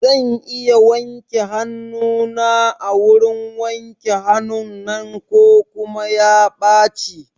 Zan iya wanke hanuna a wurin wanke hanun nan ko kuma ya ɓaci?